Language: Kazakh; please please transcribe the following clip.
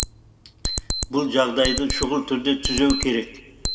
бұл жағдайды шұғыл түрде түзеу керек